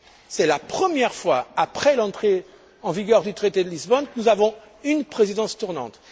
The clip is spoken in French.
C'est la première fois après l'entrée en vigueur du traité de Lisbonne que nous avons une présidence tournante.